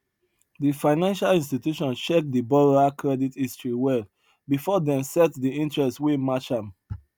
di financial institution check di borrower credit history well before dem set di interest wey match am